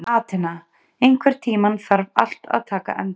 Atena, einhvern tímann þarf allt að taka enda.